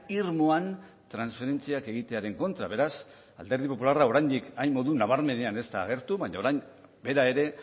irmoan transferentziak egitearen kontra beraz alderdi popularra oraindik hain modu nabarmenean ez da agertu baina orain bera ere